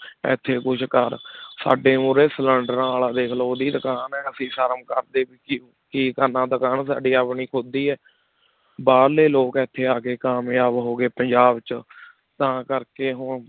ਇੱਥੇ ਕੁਛ ਕਰ ਸਾਡੇ ਉਰੇ ਸਿਲੈਂਡਰਾਂ ਵਾਲਾ ਦੇਖ ਲਓ ਉਹਦੀ ਦੁਕਾਨ ਹੈ ਅਸੀਂ ਸ਼ਰਮ ਕਰਦੇ ਕਿ ਦੁਕਾਨ ਸਾਡੀ ਆਪਣੀ ਖੁੱਦ ਦੀ ਹੈ, ਬਾਹਰਲੇ ਲੋਕ ਇੱਥੇ ਆ ਕੇ ਕਾਮਯਾਬ ਹੋ ਗਏ ਪੰਜਾਬ 'ਚ ਤਾਂ ਕਰਕੇ